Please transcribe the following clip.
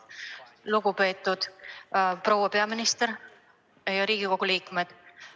Lugupeetud proua peaminister!